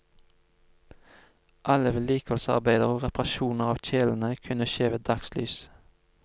Alle vedlikeholdsarbeider og reparasjoner av kjelene kunne skje ved dagslys.